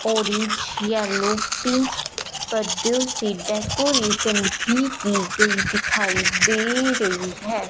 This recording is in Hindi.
ऑरेंज येलो पिंक पर्दो से डेकोरेशन भी की गई दिखाई दे रही है।